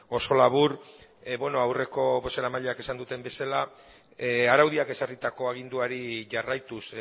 oso labur beno aurreko bozeramaileek esan duten bezala araudiak ezarritako aginduari jarraituz